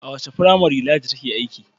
A wace firamare Ladi take aiki?